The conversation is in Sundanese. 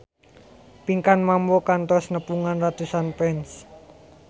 Pinkan Mambo kantos nepungan ratusan fans